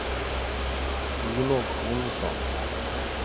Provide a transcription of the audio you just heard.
Olof Ohlsson